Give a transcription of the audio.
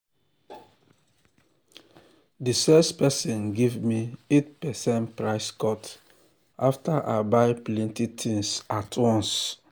the sales person give me 8 percent price cut after i buy plenty things at once.